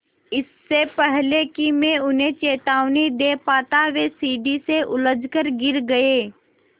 इससे पहले कि मैं उन्हें चेतावनी दे पाता वे सीढ़ी से उलझकर गिर गए